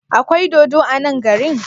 Akwai dodo a nan garin?